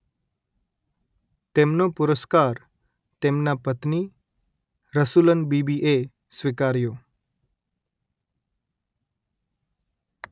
તેમનો પુરસ્કાર તેમના પત્ની રસુલન બીબી એ સ્વીકાર્યો